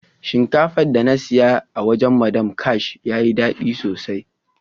Shinkafan da na siya a wajen " madam ash" ya yi dadi sosai.